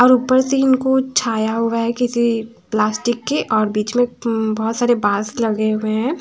और उपर से इनको छाया हुआ है किसी पल्स्टिक के और बिच में उ बहोत सारे पास लगे हुए है।